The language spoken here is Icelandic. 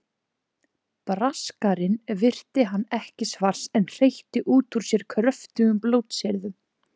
Braskarinn virti hann ekki svars en hreytti út úr sér kröftugum blótsyrðum.